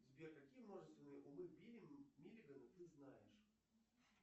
сбер какие множественные умы билли миллигана ты знаешь